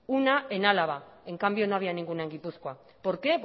una en álava en cambio no había ninguna en gipuzkoa por qué